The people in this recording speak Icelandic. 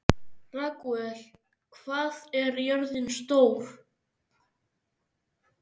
Ragúel, hvað er jörðin stór?